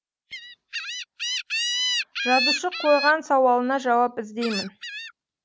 жазушы қойған сауалына жауап іздеймін